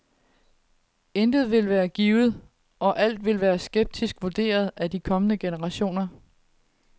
Intet vil være givet, og alt vil blive skeptisk vurderet af de kommende generationer.